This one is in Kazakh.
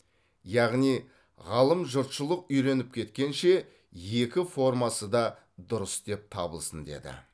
яғни ғалым жұртшылық үйреніп кеткенше екі формасы да дұрыс деп табылсын деді